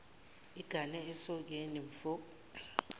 igane esokeni mfo